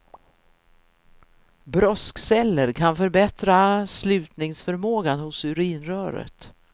Broskceller kan förbättra slutningsförmågan hos urinröret.